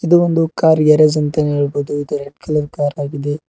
ಇದು ಒಂದು car garage ಅಂತಾನೆ ಹೇಳ್ಬೋದು ಇದು ರೆಡ್ ಕಲರ್ ಕಾರ್ ಆಗಿದೆ.